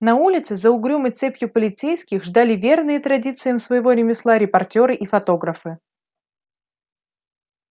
на улице за угрюмой цепью полицейских ждали верные традициям своего ремесла репортёры и фотографы